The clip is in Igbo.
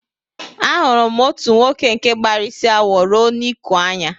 Ahụrụ m otu nwoke nke gbara isi awọ ruo n'iku anya